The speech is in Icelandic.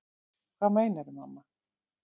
Hvað meinarðu, mamma?